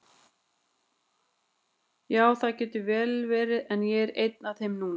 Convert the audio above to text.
Ja, það getur vel verið, en ég er ein af þeim núna.